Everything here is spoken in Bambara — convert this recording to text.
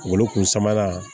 Wolo kun sama